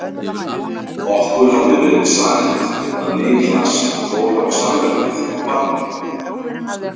Okkur hafði verið sagt að Niklas fór á salernið á Barnum.